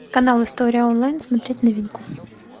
канал история онлайн смотреть новинку